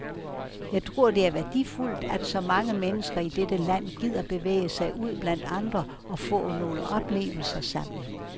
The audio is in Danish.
Jeg tror, det er værdifuldt, at så mange mennesker i dette land gider bevæge sig ud blandt andre og få nogle oplevelser sammen.